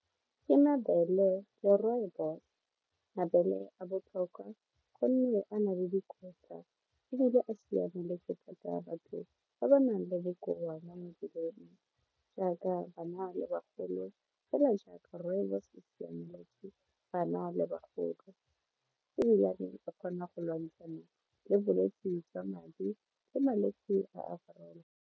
Ke mabele le rooibos, mabele a botlhokwa gonne a na le dikotla ebile a siamaletse kgotsa batho ba ba nang le dikoa mo mebeleng jaaka bana le bagolo fela jaaka rooibos e siameletse bana le bagolo ebilane o kgona go lwantshana le bolwetsi jwa madi le malwetsi a .